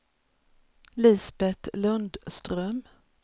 Lisbeth Lundström